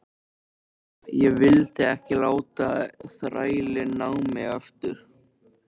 Ég vildi ekki láta þrælinn ná í mig aftur.